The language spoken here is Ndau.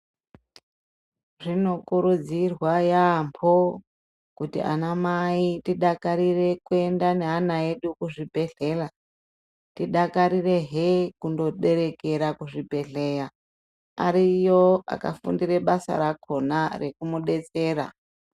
Zvinokurudzirwa yaamho kuti anamai tidakarire kuyenda neana edu kuzvibhedhlera. Tidakarirehe kundoberekera kuzvibhedhleya. Ariyo akafundire basa rakhona rekumudetsera.